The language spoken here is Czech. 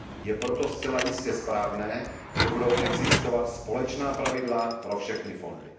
Je proto zcela jistě správné, že budou existovat společná pravidla pro všechny fondy.